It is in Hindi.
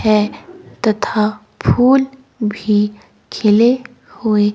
है तथा फूल भी खिले हुए--